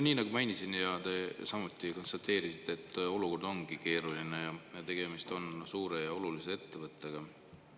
Nii nagu ma mainisin ja te samuti konstateerisite, olukord on keeruline ning tegemist on suure ja olulise ettevõttega.